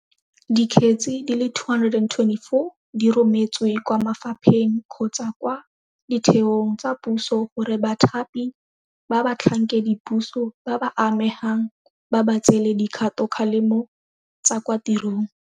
Dikgetse di le 224 di rometswe kwa mafapheng kgotsa kwa ditheong tsa puso gore bathapi ba batlhankedipuso ba ba amegang ba ba tseele dikgatokgalemo tsa kwa tirong.